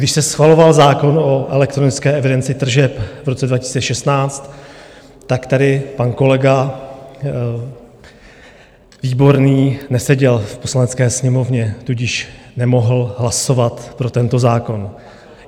Když se schvaloval zákon o elektronické evidenci tržeb v roce 2016, tak tady pan kolega Výborný neseděl v Poslanecké sněmovně, tudíž nemohl hlasovat pro tento zákon.